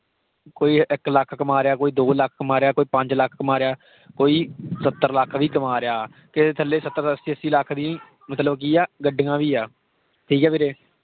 ਕੋਈ ਇੱਕ ਲੱਖ ਕਮਾ ਰਿਹਾ, ਕੋਈ ਦੋ ਲੱਖ ਕਮਾ ਰਿਹਾ, ਕੋਈ ਪੰਜ ਲੱਖ ਕਮਾ ਰਿਹਾ, ਕੋਈ ਸੱਤਰ ਲੱਖ ਵੀ ਕਮਾ ਰਿਹਾ। ਕਿਸੇ ਦੇ ਥੱਲੇ ਸੱਤਰ ਅੱਸੀ ਅੱਸੀ ਲਖ ਦੀ ਮਤਲਬ ਕੀ ਆ ਗੱਡੀਆਂ ਵੀ ਆ, ਠੀਕ ਆ ਵੀਰੇ।